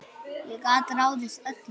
Ég gat ráðið öllu.